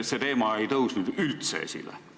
See teema ei tõusnud üldse esile.